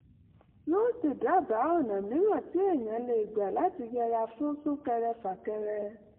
yóò sì dábàá ọ̀nà mìíràn tí èèyàn lè gbà láti yẹra fún sún-kẹrẹ-fà-kẹrẹ